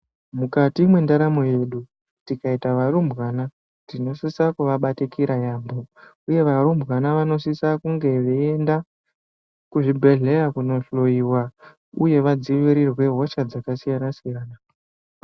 Mukati mwendaramo yedu tikaita varumbwana tinosise kuvabatikira yaamho uye varumbwana vanosise kunge veiende kuzvibhedhlera kundohloyiwa uye vadzivirirwe hosha dzakasiyana siyana.